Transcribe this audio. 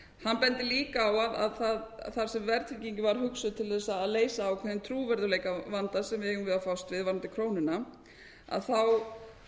hann bendir líka á að það sem verðtryggingin var hugsuð til þess að leysa ákveðinn trúverðugleika á vanda sem við eigum við að fást við varðandi krónuna þá